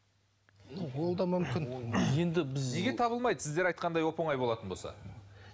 ол да мүмкін енді біз неге табылмайды сіздер айтқандай оп оңай болатын болса